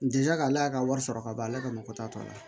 N dija ale ka wari sɔrɔ ka ban ale ka mɔgɔ t'a tɔ la